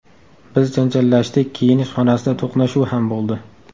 Biz janjallashdik, kiyinish xonasida to‘qnashuv ham bo‘ldi.